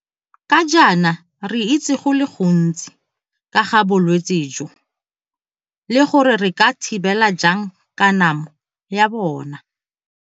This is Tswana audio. Ga jaana re itse go le gontsi ka ga bolwetse jo le gore re ka thibela jang kanamo ya bona.